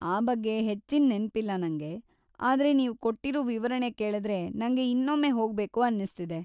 ಆ ಬಗ್ಗೆ ಹೆಚ್ಚಿನ್‌ ನೆನ್ಪಿಲ್ಲ ನಂಗೆ, ಆದ್ರೆ ನೀವ್‌ ಕೊಟ್ಟಿರೋ ವಿವರಣೆ ಕೇಳಿದ್ರೆ ನಂಗೆ ಇನ್ನೊಮ್ಮೆ ಹೊಗ್ಬೇಕು ಅನ್ನಿಸ್ತಿದೆ.